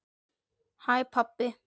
HÆ PABBI!